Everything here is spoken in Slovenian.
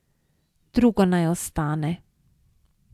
Drugo naj ostane.